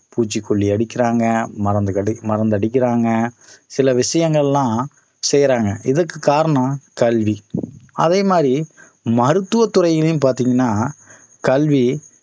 பூச்சிக்கொல்லி அடிக்கிறாங்க மருந்துகடி~ மருந்து அடிக்கிறாங்க சில விஷயங்கள் எல்லாம் செய்யறாங்க இதற்கு காரணம் கல்வி அதே மாதிரி மருத்துவ துறையிலும் பார்த்தீங்கன்னா கல்வி